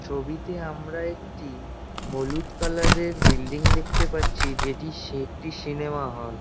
ছবিতে আমরা একটি হলুদ কালার -এর বিল্ডিং দেখতে পাচ্ছি যেটি সে একটি সিনেমা হল ।